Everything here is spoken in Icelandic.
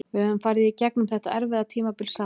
Við höfum farið í gegnum þetta erfiða tímabil saman.